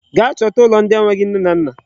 Gaa chọta ụlọ ndị enweghị nne na nna.